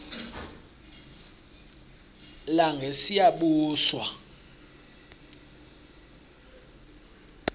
langesiyabuswa